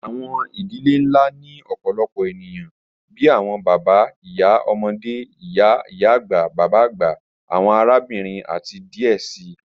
Awọn idilẹ̀ nlá ni ọ̀pọ̀lọpọ̀ ènìyàn bíi awọn bàbá, ìyá, ọmọde, ìyá-agba, bàbá-agba, awọn àràbìnrin, àti díẹ̀ sí.